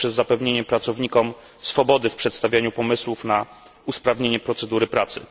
poprzez zapewnienie pracownikom swobody w przedstawianiu pomysłów na usprawnienie procedury pracy.